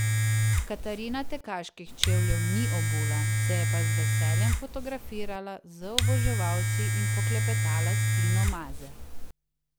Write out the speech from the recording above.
Katarina tekaških čevljev ni obula, se je pa z veseljem fotografirala z oboževalci in poklepetala s Tino Maze.